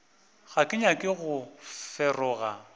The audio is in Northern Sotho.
ga ke nyake go feroga